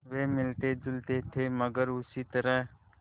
वे मिलतेजुलते थे मगर उसी तरह